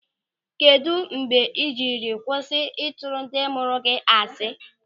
Kedụ mgbe ị jiri kwụsị ịtụrụ ndị mụrụ gị asị?